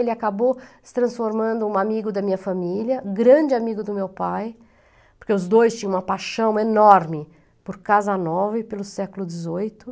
Ele acabou se transformando em um amigo da minha família, grande amigo do meu pai, porque os dois tinham uma paixão enorme por casa nova e pelo século dezoito.